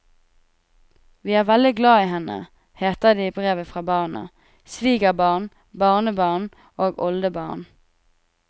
Vi er veldig glad i henne, heter det i brevet fra barn, svigerbarn, barnebarn og oldebarn.